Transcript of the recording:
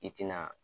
I tina